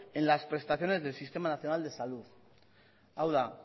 en las prestaciones del sistema nacional de salud hau da